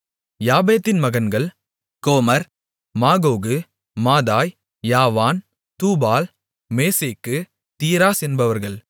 யாப்பேத்தின் மகன்கள் Gomer Magog Madai Javan Tubal Meshech Tiras என்பவர்கள்